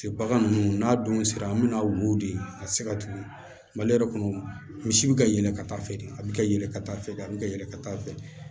Bagan ninnu n'a dun sera an bɛna wo de a tɛ se ka tugun mali yɛrɛ kɔnɔ misi bɛ ka yɛlɛ ka taa fɛ de a bɛ ka yɛlɛ ka taa fɛ a bɛ ka yɛlɛ ka taa fɛ